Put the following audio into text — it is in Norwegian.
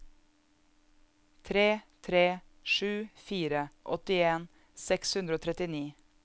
tre tre sju fire åttien seks hundre og trettini